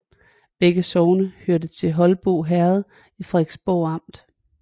Begge sogne hørte til Holbo Herred i Frederiksborg Amt